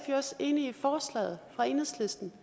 jo også enig i forslaget fra enhedslisten